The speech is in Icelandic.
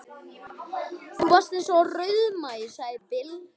Þú varst eins og rauðmagi, sagði Bill.